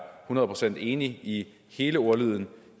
hundrede procent enig i hele ordlyden